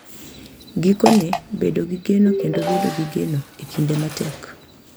Gikone, bedo gi geno kendo bedo gi geno e kinde matek .